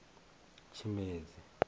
tshimedzi